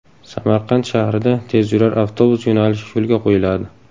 Samarqand shahrida tezyurar avtobus yo‘nalishi yo‘lga qo‘yiladi.